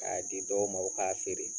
K'a di dɔw ma u k'a feere